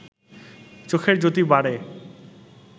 চোখের জ্যোতি বাড়ে